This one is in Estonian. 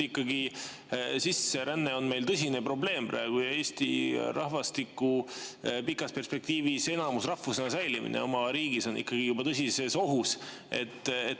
Ikkagi sisseränne on meil praegu tõsine probleem ja eestlaste püsimine oma riigis enamusrahvusena on pikas perspektiivis tõsises ohus.